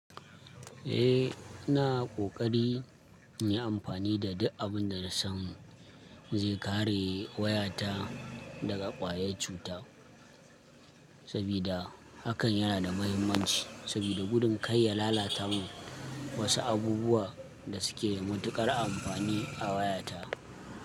Eh, na ƙoƙari in yi amfani da duk abin da da san mu zai kare wayata daga ƙwayan cuta, saboda hakan yana da mahimmanci. Saboda gudun kar ya lalatamin wasu abubuwa da suke da matuƙar amfani a wayata.